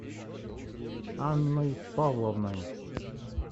анной павловной